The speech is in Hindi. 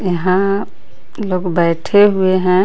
यहां लोग बैठे हुए हैं.